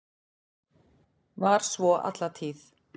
Var svo alla tíð.